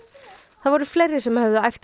það voru fleiri sem höfðu æft